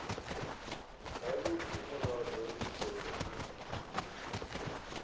havhudi murado u do newa